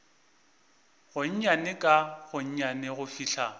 gonnyane ka gonnyane go fihla